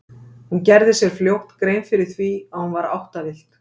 Hún gerði sér fljótt grein fyrir því að hún var áttavillt.